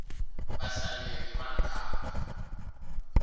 vahlaleri va nkhankha